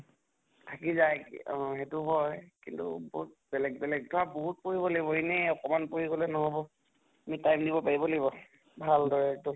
থাকি যায় অহ সেইটো হয় কিন্তু বহুত বেলেগ বেলেগ ধৰা বহুত পঢ়িব লাগিব এনে অকমান পঢ়ি গʼলে নহʼব। তুমি time দিব পাৰিব লাগিব। ভাল দৰে একতো